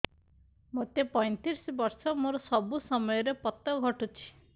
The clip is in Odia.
ମୋତେ ପଇଂତିରିଶ ବର୍ଷ ମୋର ସବୁ ସମୟରେ ପତ ଘଟୁଛି